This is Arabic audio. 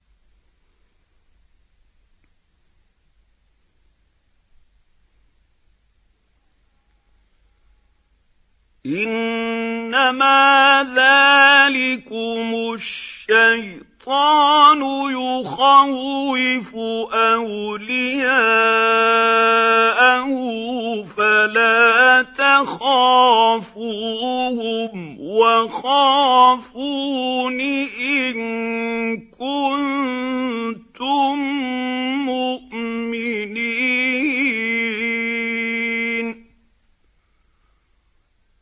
إِنَّمَا ذَٰلِكُمُ الشَّيْطَانُ يُخَوِّفُ أَوْلِيَاءَهُ فَلَا تَخَافُوهُمْ وَخَافُونِ إِن كُنتُم مُّؤْمِنِينَ